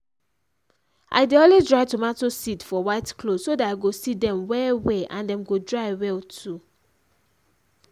i dey always dry tomato seed for white cloth so that i go see dem well well and dem go dry well too.